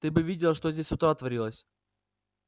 ты бы видела что здесь с утра творилось